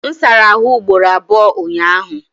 M sara ahụ ugboro abụọ ụnyaahụ.